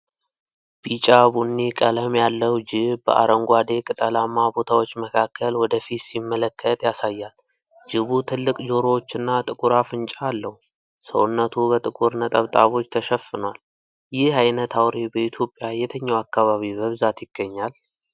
ቢጫ ቡኒ ቀለም ያለው ጅብ በአረንጓዴ ቅጠላማ ቦታዎች መካከል ወደፊት ሲመለከት ያሳያል። ጅቡ ትልቅ ጆሮዎች እና ጥቁር አፍንጫ አለው። ሰውነቱ በጥቁር ነጠብጣቦች ተሸፍኗል። ይህ አይነት አውሬ በኢትዮጵያ የትኛው አካባቢ በብዛት ይገኛል?